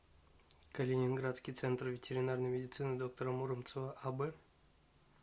калининградский центр ветеринарной медицины доктора муромцева аб